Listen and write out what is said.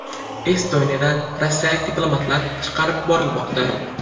Estoniyadan rossiyalik diplomatlar chiqarib yuborilmoqda.